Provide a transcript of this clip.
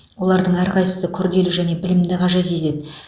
олардың әрқайсысы күрделі және білімді қажет етеді